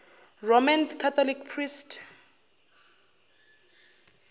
roman catholic priest